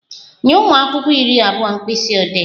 Nye ụmụ akwụkwọ iri abụọ mkpisiodee!